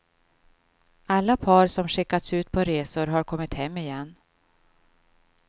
Alla par som skickats ut på resor har kommit hem igen.